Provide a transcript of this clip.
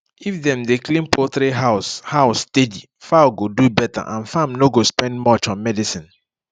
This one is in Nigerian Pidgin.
if dem dey clean poultry house house steady fowl go do better and farm no go spend much on medicine